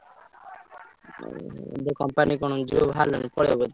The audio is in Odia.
ହୁଁ ହୁଁ ଏବେ company କଣ ଯିବ ବାହାରିଲଣି ପଳେଇବ ଏଥର?